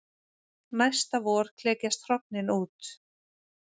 Næsta vor klekjast hrognin út.